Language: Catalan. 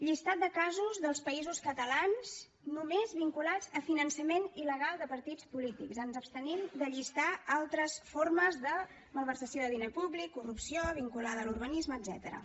llistat de casos dels països catalans només vinculats a finançament il·legal de partits polítics ens abstenim de llistar altres formes de malversació de diner públic corrupció vinculada a l’urbanisme etcètera